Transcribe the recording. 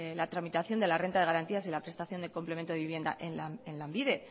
la tramitación de la renta de garantías y la prestación de complemento de vivienda en lanbide